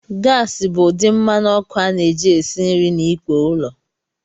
Gasi bụ ụdị mmanụ ọkụ a na-eji esi nri na ikpo ụlọ.